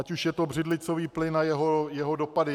Ať už je to břidlicový plyn a jeho dopady.